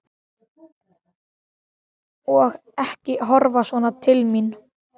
Og ekki horfa svona til mín!